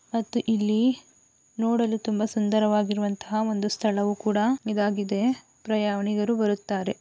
ಮತ್ತು ಇಲ್ಲಿ ನೋಡಲು ತುಂಬಾ ಸುಂದರವಾಗಿರುವ ಅಂತಹ ಒಂದು ಸ್ಥಳ ಸ್ಥಳವು ಕೂಡ ಆಗಿದೆ ಪ್ರಯಾಣಿಕರು ಬರುತ್ತಾರೆ.